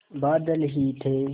बादल ही थे